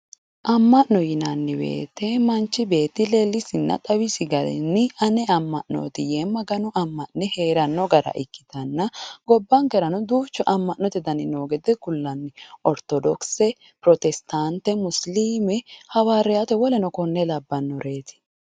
Amma'no yinanni woyiite manchi beetti leellisinna xawisi garinni ane amma'nooti yee magano amma'ne heeranno gara ikkitanna gobbankerano duuchu amma'note gari noo gede kullanni ortodokise Pirotestaante muisiliime hawariyaate woleno kuri labbannoreeti